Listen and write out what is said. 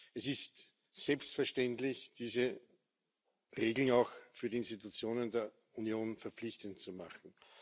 Es ist selbstverständlich, diese Regeln auch für die Institutionen der Union verpflichtend zu machen.